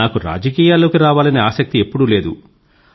నాకు రాజకీయాలలోకి రావాలని ఆసక్తి ఎప్పుడూ లేదు